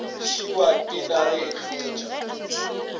šiwa ke nare e hlotša